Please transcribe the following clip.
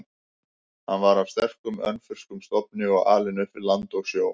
Hann var af sterkum, önfirskum stofni og alinn upp við land og sjó.